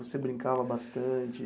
Você brincava bastante?